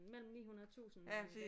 Mellem 900 og 1000 watt